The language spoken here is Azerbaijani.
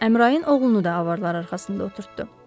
Əmrain oğlunu da avarlar arxasında oturtdu.